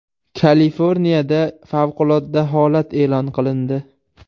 Kaliforniyada favqulodda holat e’lon qilindi.